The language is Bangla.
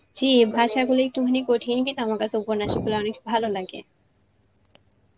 জী ভাষাগুলো একটুখানি কঠিন কিন্তু আমার কাছে উপন্যাস গুলা অনেক ভালো লাগে.